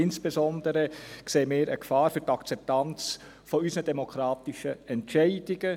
Insbesondere sehen wir eine Gefahr für die Akzeptanz unserer demokratischen Entscheide.